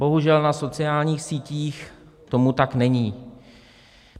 Bohužel na sociálních sítích tomu tak není.